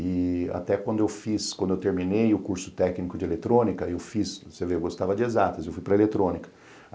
E até quando eu fiz, quando eu terminei o curso técnico de eletrônica, eu fiz, você vê, eu gostava de exatas, eu fui para eletrônica.